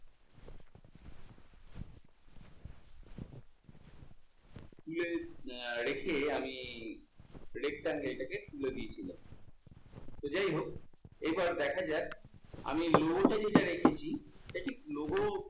তুলে রেখে আমি rectangle টাকে তুলে দিয়েছিলাম। তো যাই হোক, এবার দেখা যাক আমি logo টাকে যা রেখেছি I think logo আহ